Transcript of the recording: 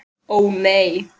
Ó nei.